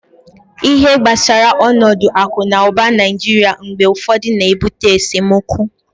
ihe gbasara onodu aku na uba naijiria mgbe ufodu na-ebute esemokwu